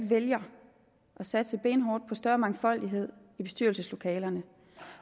vælger at satse benhårdt på større mangfoldighed i bestyrelseslokalerne